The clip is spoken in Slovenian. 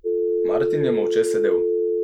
Martin je molče sedel.